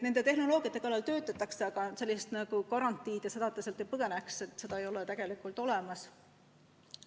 Nende tehnoloogiate kallal töötatakse, aga garantiid, et ta sealt ei põgene, ei ole tegelikult olemas.